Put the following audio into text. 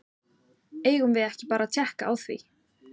Eigum við ekki bara að tékka á því?